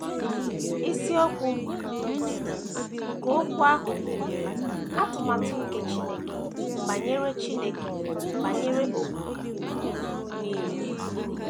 Isiokwu um nke okwu ahụ bụ “ Atụmatụ nke Chineke Banyere Chineke Banyere Ọgbọ um Nile. ”